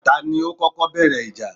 Ta ni ó kọ́kọ́ bẹ̀rẹ̀ ìjà?